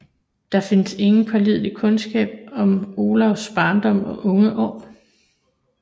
Der findes ingen pålidelig kundskab om Olavs barndom og unge år